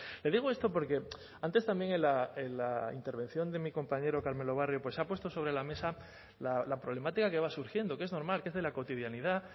le digo esto porque antes también en la intervención de mi compañero carmelo barrio pues ha puesto sobre la mesa la problemática de que va surgiendo que es normal que es de la cotidianidad